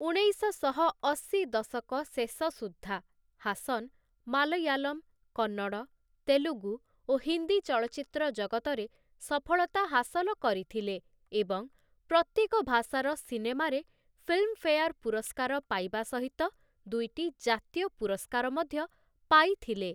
ଉଣେଇଶଶହ ଅଶି ଦଶକ ଶେଷ ସୁଦ୍ଧା, ହାସନ୍‌ ମାଲୟାଲମ, କନ୍ନଡ଼, ତେଲୁଗୁ ଓ ହିନ୍ଦୀ ଚଳଚ୍ଚିତ୍ର ଜଗତରେ ସଫଳତା ହାସଲ କରିଥିଲେ ଏବଂ ପ୍ରତ୍ୟେକ ଭାଷାର ସିନେମାରେ ଫିଲ୍ମଫେୟାର ପୁରସ୍କାର ପାଇବା ସହିତ ଦୁଇଟି ଜାତୀୟ ପୁରସ୍କାର ମଧ୍ୟ ପାଇଥିଲେ ।